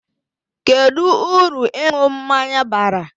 Kedu uru ịṅụ mmanya bara?